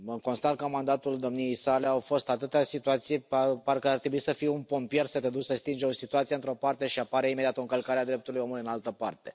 Constat că în mandatul domniei sale au fost atâtea situații, parcă ar trebui să fii un pompier, să te duci să stingi o situație într o parte și apare imediat o încălcare a drepturilor omului în altă parte.